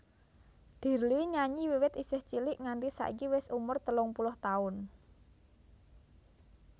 Dirly nyanyi wiwit isih cilik nganti saiki wis umur telung puluh taun